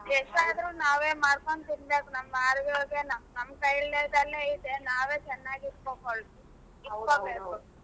ಎಷ್ಟೇ ಆದ್ರೂ ನಾವೆ ಮಾಡ್ಕೊಂಡ ತೀನ್ಬೇಕು ನಮ್ ಆರೋಗ್ಯ ನಮ್ ಕೈಯಲ್ಲೇ ಐತೆ ನಾವೆ ಚನ್ನಾಗಿ ಇಟ್ಕೋಬೇಕು.